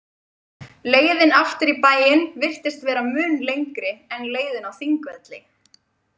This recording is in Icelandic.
Leiðin aftur í bæinn virtist vera mun lengri en leiðin á Þingvelli.